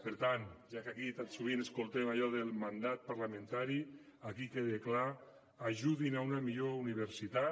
per tant ja que aquí tan sovint sentim allò del mandat parlamentari aquí queda clar ajudin a una millor universitat